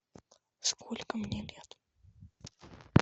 сколько мне лет